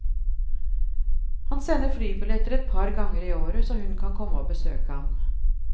Han sender flybilletter et par ganger i året så hun kan komme å besøke ham.